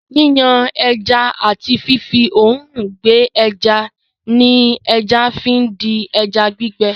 Yíyan ẹja àti fífí òòrùn gbẹ ẹja ni ẹja fi di ẹja gbígbẹ.